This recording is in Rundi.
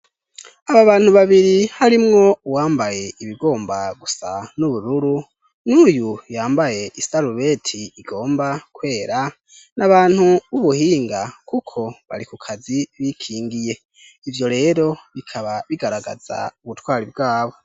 Aba bantu babiri, harimwo uwambaye ibigomba gusa n'ubururu, n'uyu yambaye i sarubeti igomba kwera n'abantu b'ubuhinga kuko bari ku kazi bikingiye. Ivyo rero bikaba bigaragaza ubutwari bwabo.